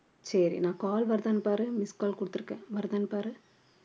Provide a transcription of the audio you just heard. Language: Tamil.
சரி நான் call வருதான்னு பாரு missed call குடுத்திருக்கேன் வருதான்னு பாரு